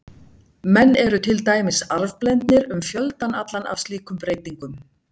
Menn eru til dæmis arfblendnir um fjöldann allan af slíkum breytingum.